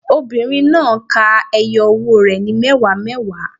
Obìnrin náà á ka ẹyọ owó rẹ̀ ní mẹ́wàá mẹ́wàá.